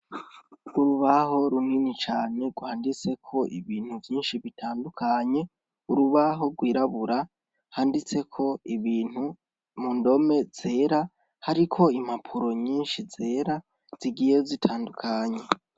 Urubaho runini cane rwanditseko ibintu vyinshi bitandukanye, urubaho rw'irabura handitseko ibintu mu ndome zera, hariko impapuro nyinshi zera zigiye zitandukanye.